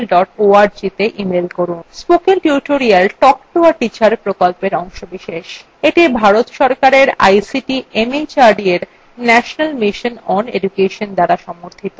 spoken tutorial talk to a teacher প্রকল্পের অংশবিশেষ এটি ভারত সরকারের ict mhrd এর national mission on education দ্বারা সমর্থিত